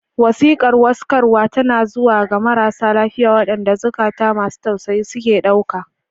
Wasiƙar warkaswa tana zuwa ga marasa lafiya, waɗanda zukata masu tausayi suke ɗauka.